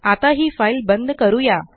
आता ही फाइल बंद करूया